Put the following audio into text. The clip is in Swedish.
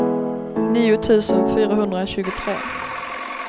nio tusen fyrahundratjugotre